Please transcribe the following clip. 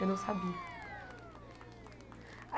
Eu não sabia.